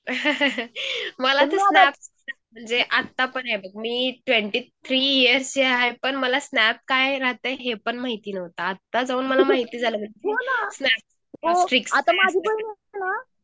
मला तर आत्ता पण ये बघ मी ट्वेन्टी थ्री इयर्स हे हाय पण मला स्नॅप काय राहतंय हे पण माहिती नव्हतं आता जाऊन मला माहित झाला .